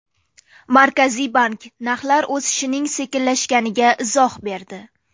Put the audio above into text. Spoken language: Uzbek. Markaziy bank narxlar o‘sishining sekinlashganiga izoh berdi.